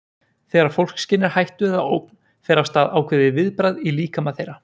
Þegar fólk skynjar hættu eða ógn fer af stað ákveðið viðbragð í líkama þeirra.